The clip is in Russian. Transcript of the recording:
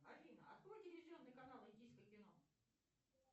афина открой телевизионный канал индийское кино